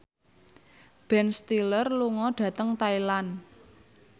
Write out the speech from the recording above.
Ben Stiller lunga dhateng Thailand